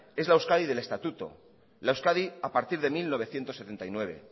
es la euskadi del estatuto la euskadi a partir de mil novecientos setenta y nueve